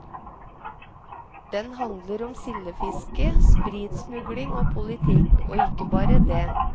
Den handler om sildefiske, spritsmugling og politikk, og ikke bare det.